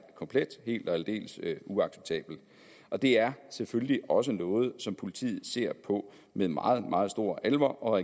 komplet og helt og aldeles uacceptabel og det er selvfølgelig også noget som politiet ser på med meget meget stor alvor og